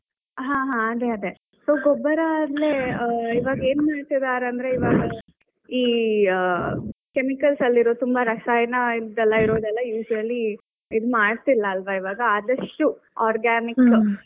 ಹಾ ಹಾ ಅದೇ ಅದೇ, ಗೊಬ್ಬರಾ ಅಂದ್ರೆ ಇವಾಗ ಏನು ಮಾಡುತ್ತಿದ್ದಾರೆ ಅಂದ್ರೆ ಇವಾಗ ಈ chemicals ಅಲ್ಲಿರೋ ಈ ರಸಾಯನ ಇದ್ ಇರೋದೆಲ್ಲಾ usually ಇದ್ ಮಾಡ್ತಿಲ್ಲ ಅಲ್ವಾ ಇವಾಗ ಆದಷ್ಟು organic.